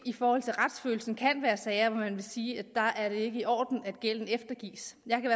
i forhold til retsfølelsen måske kan være sager hvor man må sige at der er det ikke i orden at gælden eftergives jeg kan